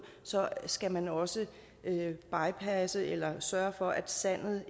så skal man også bypasse eller sørge for at sandet